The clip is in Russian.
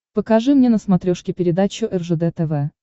покажи мне на смотрешке передачу ржд тв